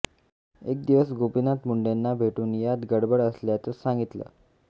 एक दिवस गोपीनाथ मुंडेंना भेटून यात गडबड असल्याचं सांगितलं